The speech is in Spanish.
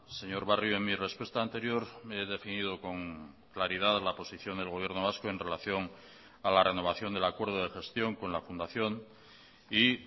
señor barrio en mi respuesta anterior me he definido con claridad la posición del gobierno vasco en relación a la renovación del acuerdo de gestión con la fundación y